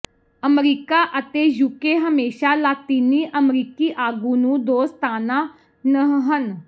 America ਅਤੇ UK ਹਮੇਸ਼ਾ ਲਾਤੀਨੀ ਅਮਰੀਕੀ ਆਗੂ ਨੂੰ ਦੋਸਤਾਨਾ ਨਹ ਹਨ